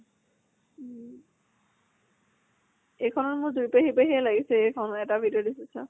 উম এইখ্নত মোৰ যুৰি পেহী পেহীয়ে লাগিছে এইখন এটা video দেখিছো।